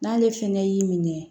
N'ale fɛnɛ y'i minɛ